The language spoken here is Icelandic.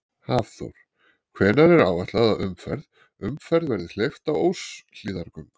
Hafþór: Hvenær er áætlað að umferð, umferð verði hleypt á Óshlíðargöng?